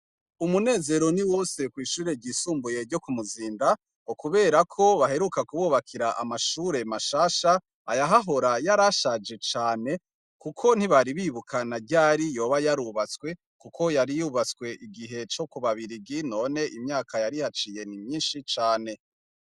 Umunezero ni wose kwishure ryo kumuzinda ngo kubera ko baheruka kububakira amashure mashasha ayahahora yarashaje cane kuko ntibari bibuka na ryari yari yarubatse kuko yari bubatswe kubabirigi none imyaka yarihaciye nimyinshi cane